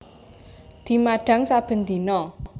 Dimadhang saben dina